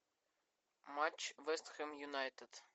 матч вест хэм юнайтед